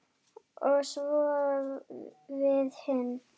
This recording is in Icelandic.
Og svo við hin.